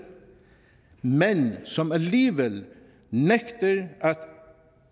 men som alligevel nægter at